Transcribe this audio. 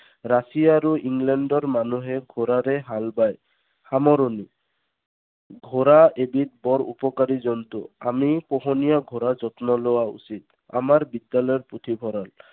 Russia আৰু ইংলেণ্ডৰ মানুহে ঘোঁৰাৰে হাল বায়। সামৰণি। ঘোঁৰা এবিধ বৰ উপকাৰী জন্তু। আমি পোহনীয়া ঘোঁৰা যত্ন লোৱা উচিত। আমাৰ বিদ্যালয়ৰ পুথিভঁৰাল।